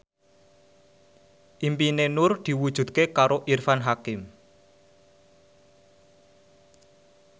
impine Nur diwujudke karo Irfan Hakim